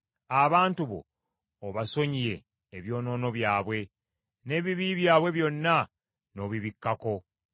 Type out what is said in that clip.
Abantu bo obasonyiye ebyonoono byabwe, n’ebibi byabwe byonna n’obibikkako.